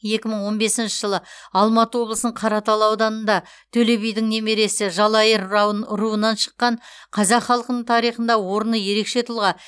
екі мың он бесінші жылы алматы облысының қаратал ауданында төле бидің немересі жалайыр рау руынан шыққан қазақ халқының тарихында орны ерекше тұлға